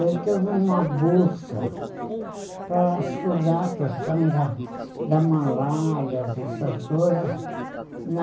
Ele teve uma bolsa para estudar a questão da da malária, dessas coisas, na...